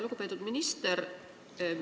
Lugupeetud minister!